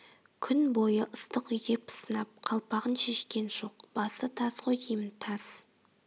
күн бойы ыстық үйде пысынап қалпағын шешкен жоқ басы таз ғой деймін таз